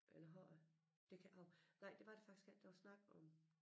Eller har jeg? Det kan hov nej det var der faktisk ikke der var snak om